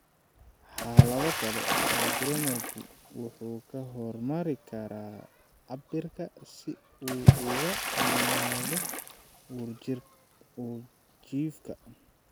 Xaalado kale, hygroma-gu wuxuu ku hormari karaa cabbirka si uu uga weynaado uurjiifka.